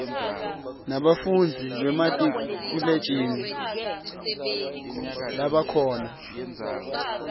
lebafundzi bamatikuletjeni labakhona